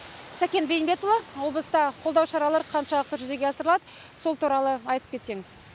сәкен бейімбетұлы облыста қолдау шаралары қаншалықты жүзеге асырылады сол туралы айтып кетсеңіз